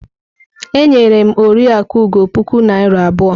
E nyere m Oriakụ Ugo puku naira abụọ.